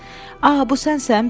A, bu sənsən, Bil?